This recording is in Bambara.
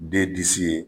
De disi ye